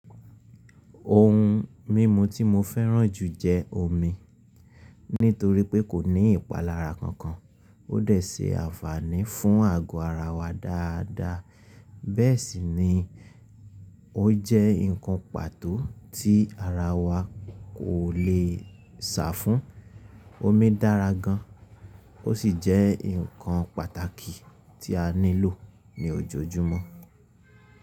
Ohun mímu tí mo fẹ́ràn jù jẹ́ omi. Nítorí pé kò ní ìpalára kankan. Ó dẹ̀ ṣé ànfàní fún àgọ́ ara wa dáadáa. Bẹ́ẹ̀ sì ni ó jẹ́ ǹkan pàtó tí ara wa kò le sà fún. Omi dára gan, ó sì jẹ́ ǹkan pàtàkì tí a nílò ní ojoojúmọ́.